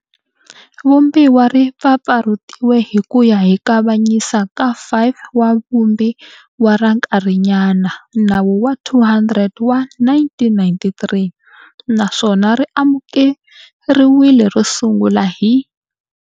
Vumbiwa ri mpfampfarhutiwe hi ku ya hi Kavanyisa ka 5 ka Vumbiwa ra nkarhinyana, Nawu wa 200 wa 1993, naswona ri amukeriwile ro sungula hi.